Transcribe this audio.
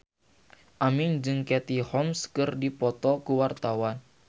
Aming jeung Katie Holmes keur dipoto ku wartawan